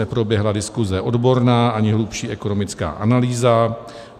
Neproběhla diskuse odborná ani hlubší ekonomická analýza.